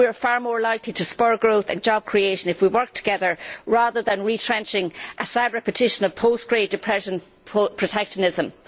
We are far more likely to spur growth and job creation if we work together rather than retrenching a sad repetition of post Great Depression protectionism.